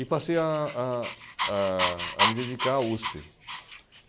E passei a a a a me dedicar à USP.